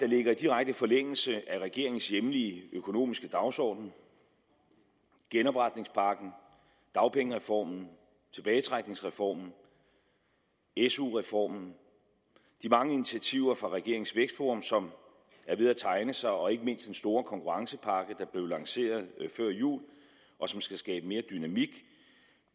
ligger i direkte forlængelse af regeringens hjemlige økonomiske dagsorden genopretningspakken dagpengereformen tilbagetrækningsreformen su reformen de mange initiativer fra regeringens vækstforum som er ved at tegne sig og ikke mindst den store konkurrencepakke der blev lanceret før jul og som skal skabe mere dynamik